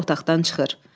Həmidə otaqdan çıxır.